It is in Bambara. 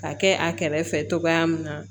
Ka kɛ a kɛrɛfɛ togoya min na